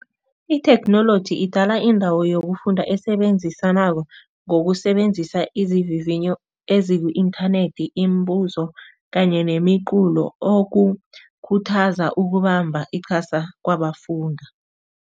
Itheknoloji idala indawo yokufunda esebenzisanako ngokusebenzisa izivivinyo eziku-inthanethi, imibuzo kanye nemiculo okukhuthaza ukubamba iqhasa kwabafundi.